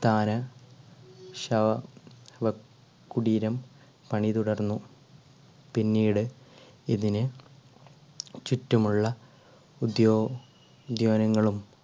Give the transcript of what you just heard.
സ്ഥാന ശവ കുടീരം പണി തുടർന്നു പിന്നീട് ഇതിന് ചുറ്റുമുള്ള ഉദ്യോ~ഉദ്യാനങ്ങളും